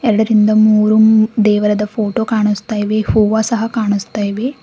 ಅದರಿಂದ ಮೂರು ಮು ದೇವರದ ಫೋಟೋ ಕಾಣಿಸ್ತಾ ಇವೆ ಹೂವ ಸಹ ಕಾಣಿಸ್ತಾ ಇವೆ.